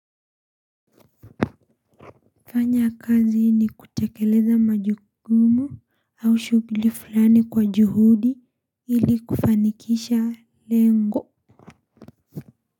Fanya kazi ni kutekeleza majukumu au shughuili fulani kwa juhudi ili kufanikisha lengo.